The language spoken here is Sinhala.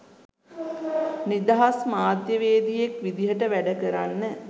නිදහස් මාධ්‍යවේදියෙක් විදිහට වැඩ කරන්න